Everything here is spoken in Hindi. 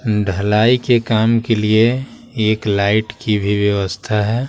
ढलाई के काम के लिए एक लाइट की भी व्यवस्था है।